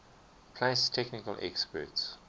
place technical experts